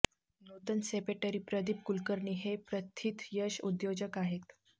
नूतन सेपेटरी प्रदीप कुलकर्णी हे प्रथितयश उद्योजक आहेत